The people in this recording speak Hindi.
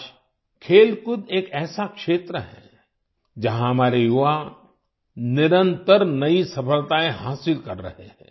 आज खेलकूद एक ऐसा क्षेत्र है जहाँ हमारे युवा निरंतर नई सफलताएँ हासिल कर रहे हैं